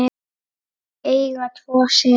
Þau eiga tvo syni.